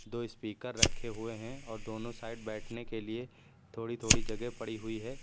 दो स्पीकर रखे हुए हैं और दोनों साइड बैठने के लिए थोड़ी थोड़ी जगह पड़ी हुई है।